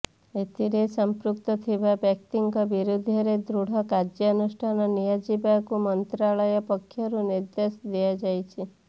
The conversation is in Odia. ଏଥିରେ ସମ୍ପୃକ୍ତ ଥିବା ବ୍ୟକ୍ତିଙ୍କ ବିରୁଦ୍ଧରେ ଦୃଢ କାର୍ଯ୍ୟାନୁଷ୍ଠାନ ନିଆଯିବାକୁ ମନ୍ତ୍ରଣାଳୟ ପକ୍ଷରୁ ନିର୍ଦ୍ଦେଶ ଦିଆଯାଇଛି